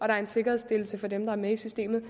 der er en sikkerhedsstillelse for dem der er med i systemet